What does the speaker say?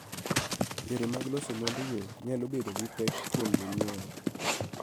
Yore mag loso mwandugo nyalo bedo gi pek kuom jonyiewo.